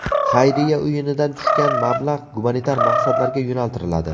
Xayriya o‘yinidan tushgan mablag‘ gumanitar maqsadlarga yo‘naltiriladi.